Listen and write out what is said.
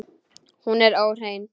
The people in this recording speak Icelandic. Hún er óhrein.